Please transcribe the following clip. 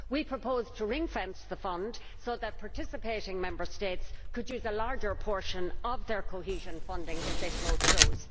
We propose to ring fence the fund so that participating Member States can use a larger portion of their cohesion funding if they so choose.